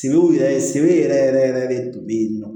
Sebew yɛrɛ sebew yɛrɛ yɛrɛ yɛrɛ de tun bɛ yen nɔ